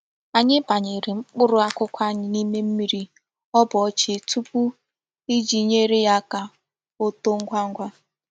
Anyi banyere mkpuru akuku anyi n'ime mmiri o boo chi tupu, Iji nyere ya aka oto ngwa ngwa.